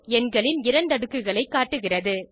எண்களின் இரண்டுக்குகளை காட்டுகிறது